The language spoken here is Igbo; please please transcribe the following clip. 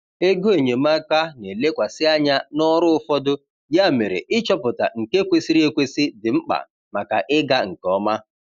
Ego enyemaka na-elekwasị anya n’ọrụ ụfọdụ, ya mere ịchọpụta nke kwesịrị ekwesị dị mkpa maka ịga nke ọma.